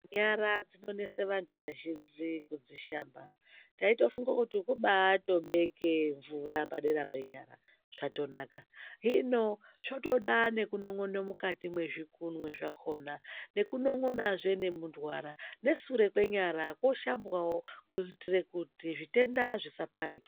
Nyara dzinonese vantu vazhinji kudzishamba. Taitofungo kuti kubatobeke mvura padera penyara zvatonaka. Hino zvotoda nekunon'ono mukati mwezvikunwe zvakona, nekunon'onazve nemundwara, nesure kwenyara koshambwavo kuitire kuti zvitenda zvisaparike.